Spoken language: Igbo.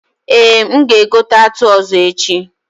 Eh, m ga egote atụ ọzọ echi